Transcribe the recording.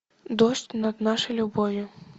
дождь над нашей любовью